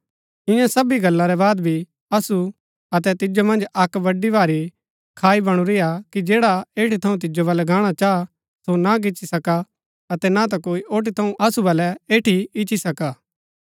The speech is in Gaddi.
ईयां सबी गल्ला रै बाद भी असु अतै तिजो मन्ज अक्क बडी भारी खाई बणुरिआ कि जैडा एठी थऊँ तिजो बलै गाहणा चाह सो ना गिची सका अतै ना ता कोई ओठी थऊँ असु बलै एठी इच्ची सका